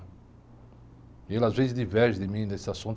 E ele às vezes diverge de mim nesse assunto.